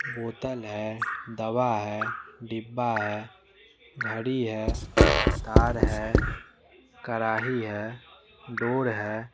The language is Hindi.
बोतल है दवा है डिब्बा है घड़ी है तार है कराही है डोर है।